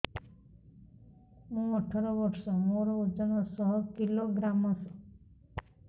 ମୁଁ ଅଠର ବର୍ଷ ମୋର ଓଜନ ଶହ କିଲୋଗ୍ରାମସ